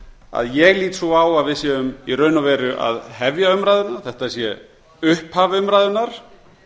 að ég lít svo að við séum í raun og veru að hefja umræðuna þetta sé upphaf umræðunnar